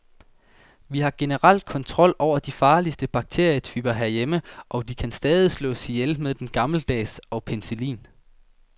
Vi har generelt kontrol over de farligste bakterietyper herhjemme, og de kan stadig slås ihjel med den gammeldags og penicillin.